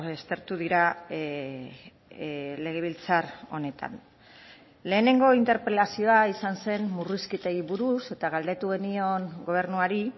aztertu dira legebiltzar honetan lehenengo interpelazioa izan zen murrizketei buruz eta galdetu genion gobernuari